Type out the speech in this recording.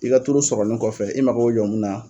I ka tulu sɔrɔlen kɔfɛ, i mako be jɔ mun na.